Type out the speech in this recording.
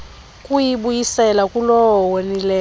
kuyibuyisela kulowo wonileyo